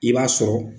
I b'a sɔrɔ